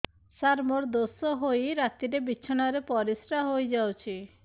ସାର ମୋର ଦୋଷ ହୋଇ ରାତିରେ ବିଛଣାରେ ପରିସ୍ରା ହୋଇ ଯାଉଛି